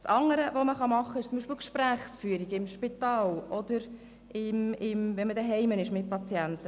Dann kann man auch die Gesprächsführung im Spital oder beim Patienten zu Hause anschauen.